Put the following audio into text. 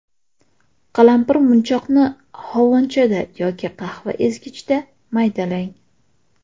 Qalampirmunchoqni hovonchada yoki qahva ezgichda maydalang.